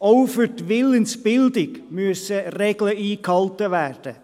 Auch für die Willensbildung müssen Regeln eingehalten werden.